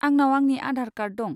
आंनाव आंनि आधार कार्ड दं।